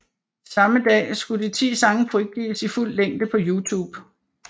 Samme dag skulle de ti sange frigives i fuld længe på YouTube